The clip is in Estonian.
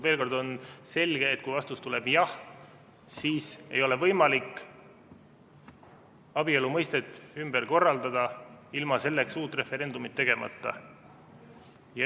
Veel kord: on selge, et kui vastus tuleb jah, siis ei ole võimalik abielu mõistet ümber teha ilma selleks uut referendumit korraldamata.